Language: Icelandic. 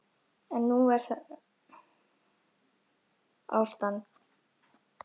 Er það nú ástand!